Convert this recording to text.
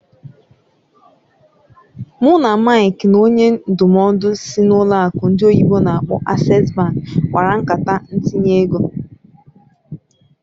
Mụ na Mike na onye ndụmọdụ sịị n'ụlọ akụ ndị oyibo n'akpọ "Access bank" kpara nkata ntinye ego.